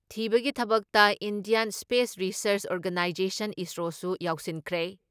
ꯊꯤꯕꯒꯤ ꯊꯕꯛꯇ Indian Space Research Organisation ISRO ꯁꯨ ꯌꯥꯎꯁꯤꯟꯈ꯭ꯔꯦ ꯫